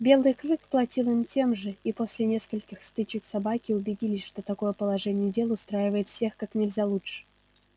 белый клык платил им тем же и после нескольких стычек собаки убедились что такое положение дел устраивает всех как нельзя лучше